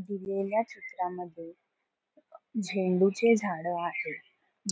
दिलेल्या चित्रामध्ये झेंडू चे झाडं आहे